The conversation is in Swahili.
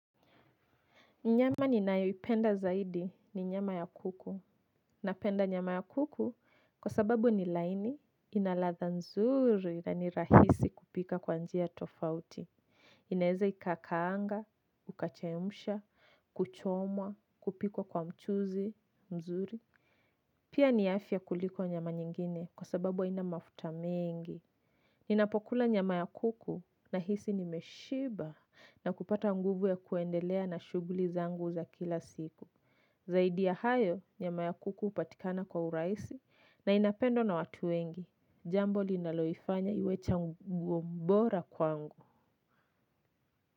Nyama ninayoipenda zaidi ni nyama ya kuku. Napenda nyama ya kuku kwa sababu ni laini, ina ladha nzuri na ni rahisi kupika kwa njia tofauti. Inaeze ikakaanga, ukachemsha, kuchomwa, kupikwa kwa mchuzi, mzuri. Pia ni afya kuliko nyama nyingine kwa sababu haina mafuta mengi. Ninapokula nyama ya kuku nahisi nimeshiba na kupata nguvu ya kuendelea na shughuli zangu za kila siku. Zaidi ya hayo, nyama ya kuku hupatikana kwa urahisi na inapendwa na watu wengi. Jambo linaloifanya iwe chaguo bora kwangu.